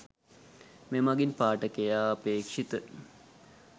මෙමඟින් පාඨකයා අපේක්‍ෂිත